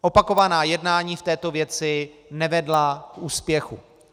Opakovaná jednání v této věci nevedla k úspěchu.